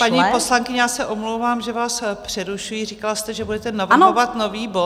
Paní poslankyně, já se omlouvám, že váš přerušuji, říkala jste, že budete navrhovat nový bod...